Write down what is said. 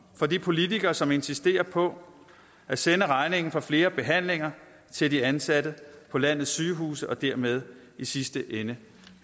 for de politikere som insisterer på at sende regningen for flere behandlinger til de ansatte på landets sygehuse og dermed i sidste ende